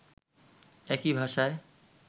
একই ভাষায়